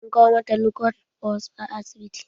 An kawo mata lukozed bust a asibiti.